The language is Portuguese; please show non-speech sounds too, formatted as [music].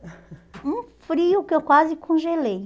[laughs] Um frio que eu quase congelei.